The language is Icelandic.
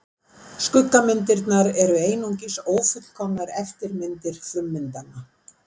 skuggamyndirnar eru einungis ófullkomnar eftirmyndir frummyndanna